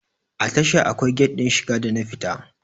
A tasha akwai gat din shiga da na fita